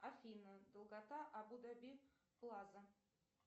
афина долгота абу даби плаза